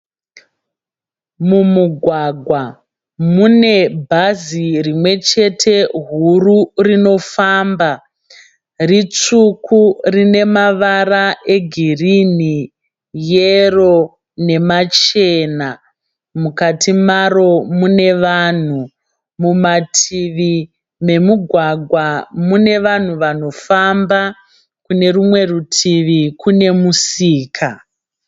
Mumugwagwa mune bhazi rimwechete huru rinofamba. Ritsvuku rine mavara egirini, yero nemachena. Mukati maro mune vanhu. Mumativi memugwagwa mune vanhu vanofamba. Kune rumwe rutivi kune musika.